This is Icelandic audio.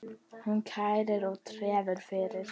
Hún kærir og tefur fyrir.